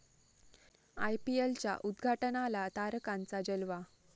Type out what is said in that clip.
आयपीएलच्या उद्घाटनाला तारकांचा जलवा